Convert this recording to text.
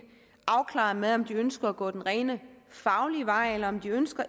afklaret med om de ønsker at gå den rent faglige vej eller om de ønsker